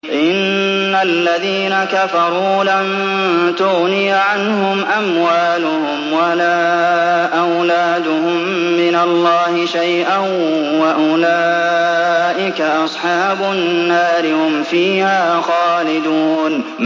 إِنَّ الَّذِينَ كَفَرُوا لَن تُغْنِيَ عَنْهُمْ أَمْوَالُهُمْ وَلَا أَوْلَادُهُم مِّنَ اللَّهِ شَيْئًا ۖ وَأُولَٰئِكَ أَصْحَابُ النَّارِ ۚ هُمْ فِيهَا خَالِدُونَ